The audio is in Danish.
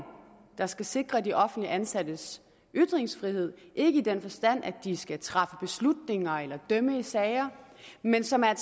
der skal sikre de offentligt ansattes ytringsfrihed ikke i den forstand at det skal træffe beslutninger eller dømme i sager men som er